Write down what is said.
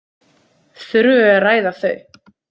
Þurfum við að ræða þau?